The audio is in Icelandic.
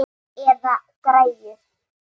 Eða græjur.